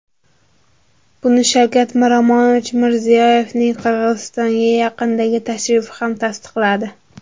Buni Shavkat Miromonovich Mirziyoyevning Qozog‘istonga yaqindagi tashrifi ham tasdiqladi.